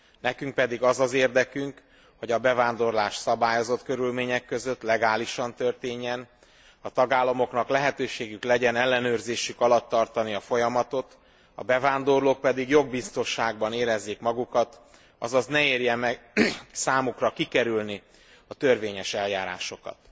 Nekünk pedig az az érdekünk, hogy a bevándorlás szabályozott körülmények között, legálisan történjen, a tagállamoknak lehetőségük legyen ellenőrzésük alatt tartani a folyamatot, a bevándorlók pedig jogbiztonságban érezzék magukat, azaz ne érje meg számukra kikerülni a törvényes eljárásokat.